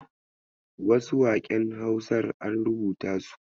Wasu waƙen Hausar an rubuta su.